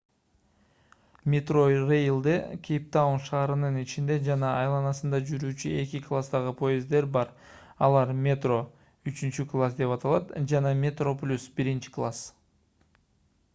metrorail'де кейптаун шаарынын ичинде жана айланасында жүрүүчү эки класстагы поезддер бар алар: metro үчүнчү класс деп аталат жана metroplus биринчи класс